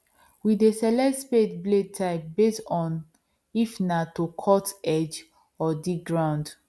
we dey select spade blade types based on if na to cut edge or dig ground